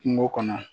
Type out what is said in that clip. Kungo kɔnɔ